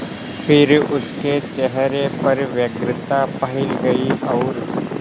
फिर उसके चेहरे पर व्यग्रता फैल गई और